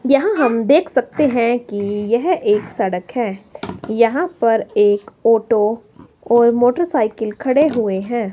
यहां हम देख सकते हैं कि यह एक सड़क है। यहां पर एक ऑटो और मोटरसाइकिल खड़े हुए हैं।